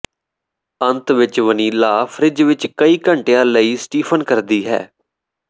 ਅੰਤ ਵਿੱਚ vanilla fridge ਵਿੱਚ ਕਈ ਘੰਟਿਆਂ ਲਈ ਸਟੀਫਨ ਕਰਦੀ ਹੈ